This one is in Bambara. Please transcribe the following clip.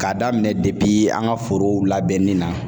K'a daminɛ an ka forow labɛnni na